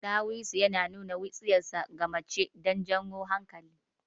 Ɗawisu yana nuna wutsiyarsa ga mace don jan hankalin ta.